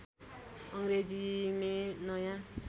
अङ्ग्रेजी मेँ नयाँ